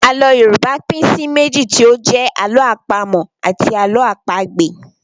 Àlọ́ Yorùbá pín sí méjì tí ó jẹ́ Àlọ́ àpamọ̀ àti Àlọ́ àpagbè